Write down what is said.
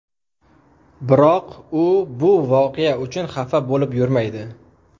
Biroq u bu voqea uchun xafa bo‘lib yurmaydi.